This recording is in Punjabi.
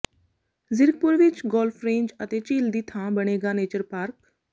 ਜ਼ੀਰਕਪੁਰ ਵਿੱਚ ਗੋਲਫ ਰੇਂਜ ਅਤੇ ਝੀਲ ਦੀ ਥਾਂ ਬਣੇਗਾ ਨੇਚਰ ਪਾਰਕ